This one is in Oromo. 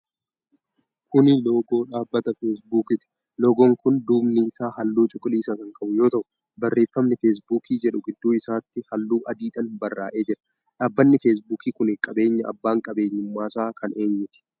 Kuni loogoo dhaabbata Feesbuukiiti. Loogoon kun duubni isaa halluu cuquliisa kan qabu yoo ta'u, barreefami 'feesbuuk' jedhu gidduu isaatti halluu adiidhaan barraa'ee jira. dhaabanni Feesbuuk kuni qabeenya abbaan qabeeenyuumaasaa kan eenyuuti?